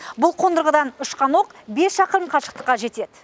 бұл қондырғыдан ұшқан оқ бес шақырым қашықтыққа жетеді